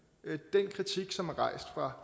den kritik som er rejst fra